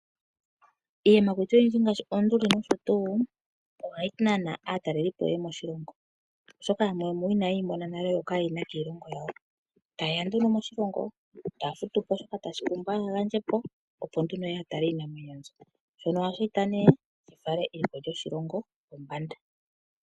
Iiyamakuti oyindji ngaashi oonduli, oha yi nana aatalelipo, ye ye moshilongo, oshoka yamwe ina ye yi mona nale, yo ka ye yi na kiilingo yawo. Oha ye ya nduno moshilongo, ta ya futu nduno shoka tashi pulwa opo ya tale iinamwenyo mbyo. Shika oha shi eta shi fale eliko lyoshilongo pombanda.